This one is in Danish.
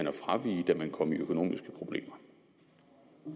at fravige da man kom i økonomiske problemer